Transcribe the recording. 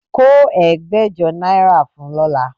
Kó ẹgbẹ̀jọ náírà fún un lọ́la